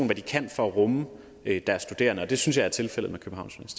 hvad de kan for at rumme deres studerende og det synes jeg er tilfældet